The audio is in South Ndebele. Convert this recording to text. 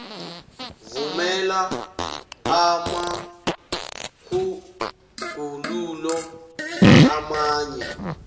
vumela amatjhuguluko amanye